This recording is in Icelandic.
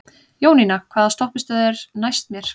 Jónína, hvaða stoppistöð er næst mér?